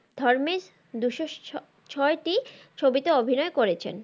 দুশো ছ~ছয়টি ছবিতে অভিনয় করেছেন।